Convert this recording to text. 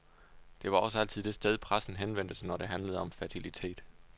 Det var også altid det sted, pressen henvendte sig, når det handlede om fertilitet.